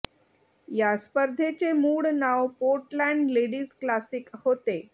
या स्पर्धेचे मूळ नाव पोर्टलँड लेडीज क्लासिक होते